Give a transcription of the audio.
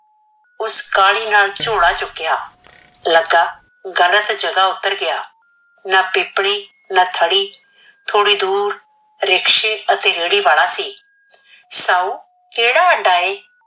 ਉਸ ਕਾਹਲੀ ਨਾਲ ਝੋਲਾ ਚੁਕਿਆ ਲੱਗਾ ਗਲਤ ਜਗਾਹ ਉਤਰ ਗਿਆ, ਨਾ ਪੀਪਣੀ, ਨਾ ਥੜ੍ਹੀ, ਥੋੜੀ ਦੂਰ ਰਿਕਸ਼ੇ ਅਤੇ ਰੇਹੜੀ ਵਾਲਾ ਸੀ । ਸਾਊ ਕਿਹੜਾ ਅੱਡਾ ਏ?